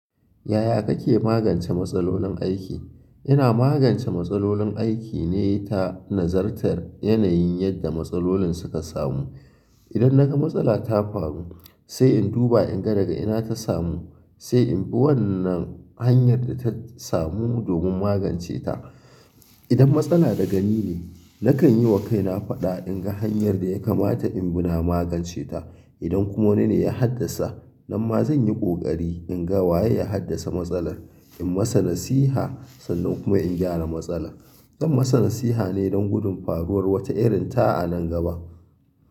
Yaya kake magance matsalolin aiki? Ina magance matsalolin aiki ne ta nazartar yanayin yadda matsalolin suka samu. Idan naga matsala ta faru, sai in duba in ga daga ina ta samu, sai in bi wannan hanyar da ta samu domin magance ta. Idan matsala da gani ne, nakan yi wa kaina faɗa in ga hanyar da ya kamata in bi na magance ta. Idan kuma wani ne ya haddasa, nan ma zan yi ƙoƙari in ga waye ya haddasa matsalar, in masa nasiha sannan kuma in gyara matsala. Don masa nasiha ne don gudun faruwar wata irin ta a nan gaba.